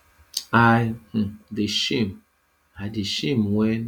i um dey shame i dey shame wen